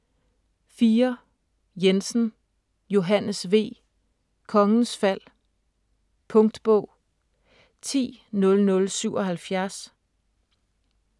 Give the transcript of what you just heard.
4. Jensen, Johannes V.: Kongens Fald Punktbog 100077